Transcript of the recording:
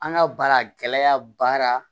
An ka baara gɛlɛya baara